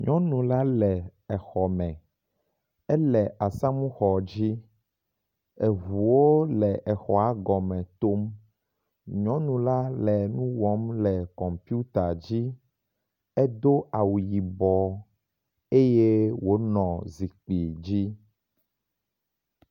Nyɔnu la le exɔ me. Ele asamuxɔ dzi. Eŋuwo le exɔa gɔme tom. Nyɔnu la le nu wɔm le kɔmpita dzi. Edo awu yibɔ eye wònɔ zikpui dzi.